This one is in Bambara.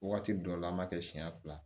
Waati dɔ la an b'a kɛ siɲɛ fila